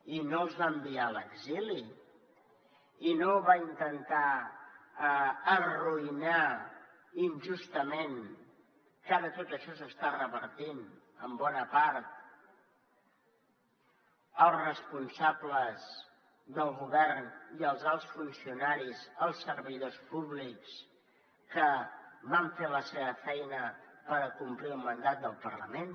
i no els va enviar a l’exili i no va intentar arruïnar injustament que ara tot això s’està revertint en bona part els responsables del govern i els alts funcionaris els servidors públics que van fer la seva feina per acomplir el mandat del parlament